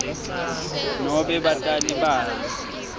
nobe batali babo